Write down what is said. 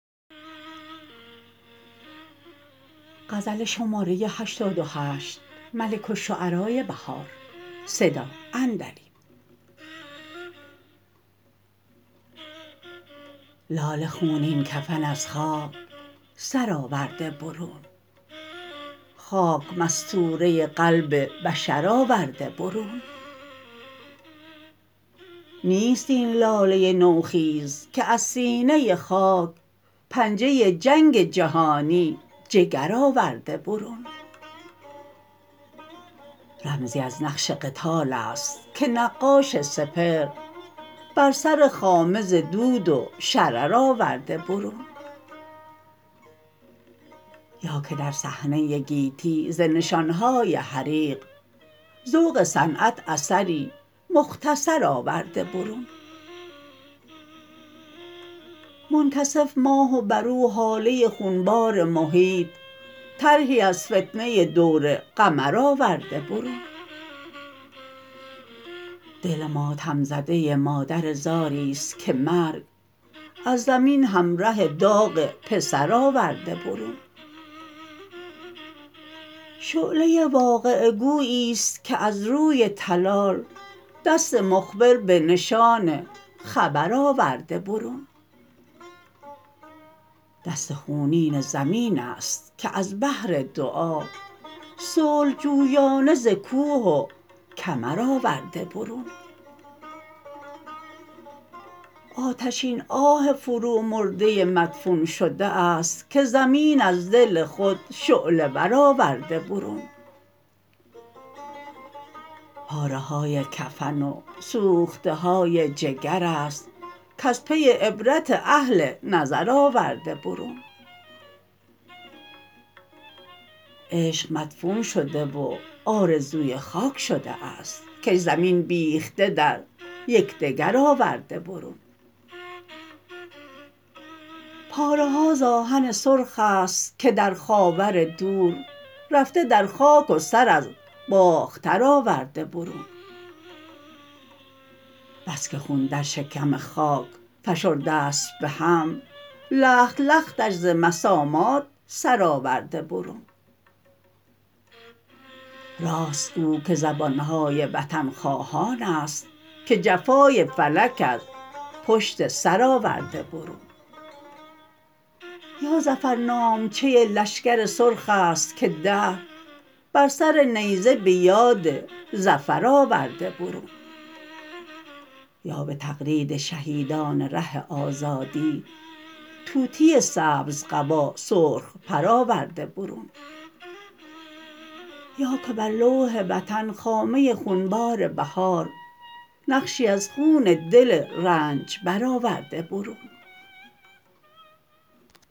لاله خونین کفن از خاک سر آورده برون خاک مستوره قلب بشر آورده برون نیست این لاله نوخیز که از سینه خاک پنجه جنگ جهانی جگر آورده برون رمزی از نقش قتالست که نقاش سپهر بر سر خامه ز دود و شرر آورده برون یا که در صحنه گیتی ز نشان های حریق ذوق صنعت اثری مختصر آورده برون منکسف ماه و بر او هاله خونبار محیط طرحی از فتنه دور قمر آورده برون دل ماتم زده مادر زاریست که مرگ از زمین همره داغ پسر آورده برون شعله واقعه گوییست که از روی تلال دست مخبر به نشان خبر آورده برون دست خونین زمین است که از بهر دعا صلح جویانه زکوه و کمر آورده برون آتشین آه فرو مرده مدفون شده است که زمین از دل خود شعله ور آورده برون پاره های کفن و سوخته های جگرست کز پی عبرت اهل نظر آورده برون عشق مدفون شده و آرزوی خاک شده است کش زمین بیخته در یکدگر آورده برون پاره ها زآهن سرخست که در خاور دور رفته در خاک و سر از باختر آورده برون بس که خون در شکم خاک فشرده است بهم لخت لختش ز مسامات سر آورده برون راست گویی که زبان های وطن خواهانست که جفای فلک از پشت سرآورده برون یا ظفرنامچه لشگر سرخست که دهر بر سر نیزه به یاد ظفر آورده برون یا به تقلید شهیدان ره آزادی طوطی سبز قبا سرخ پر آورده برون یا که بر لوح وطن خامه خونبار بهار نقشی از خون دل رنجبر آورده برون